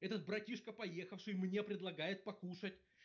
этот братишка поехавший мне предлагает покушать